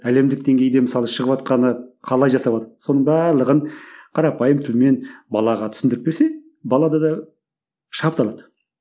әлемдік деңгейде мысалы шығыватқаны қалай соның барлығын қарапайым тілмен балаға түсіндіріп берсе балада да шабыт алады